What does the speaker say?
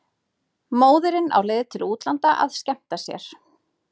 Móðirin á leið til útlanda að skemmta sér.